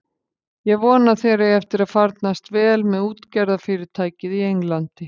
Ég vona að þér eigi eftir að farnast vel með útgerðarfyrirtækið í Englandi.